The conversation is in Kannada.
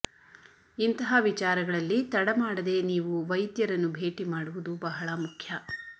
ಇಂತಹ ವಿಚಾರಗಳಲ್ಲಿ ತಡಮಾಡದೆ ನೀವು ವೈದ್ಯರನ್ನು ಭೇಟಿ ಮಾಡುವುದು ಬಹಳ ಮುಖ್ಯ